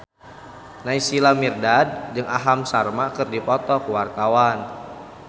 Naysila Mirdad jeung Aham Sharma keur dipoto ku wartawan